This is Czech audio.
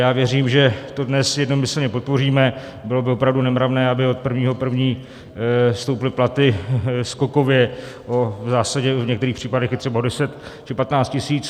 Já věřím, že to dnes jednomyslně podpoříme, bylo by opravdu nemravné, aby od 1. 1. stouply platy skokově, v zásadě v některých případech i třeba o 10 či 15 tisíc.